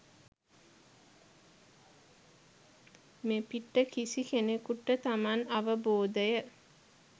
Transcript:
මෙපිට කිසි කෙනෙකුට තමන් අවබෝදය